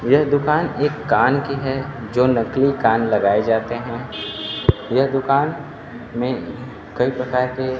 यह दुकान एक कान की है जो नकली कान लगाए जाते हैं यह दुकान मे कई प्रकार के--